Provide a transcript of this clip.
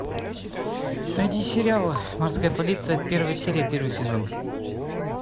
найди сериал морская полиция первая серия первый сезон